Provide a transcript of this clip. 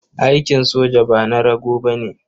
Aikin soja ba na rago ba ne.